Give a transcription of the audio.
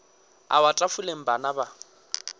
a wa tafoleng bana ba